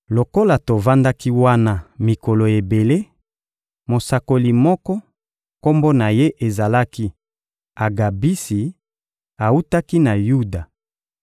Lokola tovandaki wana mikolo ebele, mosakoli moko, kombo na ye ezalaki Agabisi, awutaki na Yuda